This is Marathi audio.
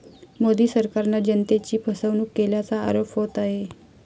मोदी सरकारनं जनतेची फसवणूक केल्याचा आरोप होत आहे.